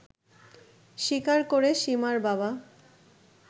স্বীকার করে সীমার বাবা